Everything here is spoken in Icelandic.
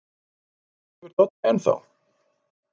Sefur Doddi enn þá?